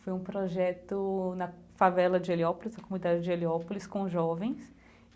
Foi um projeto na favela de Heliópolis, comunidade de Heliópolis, com jovens.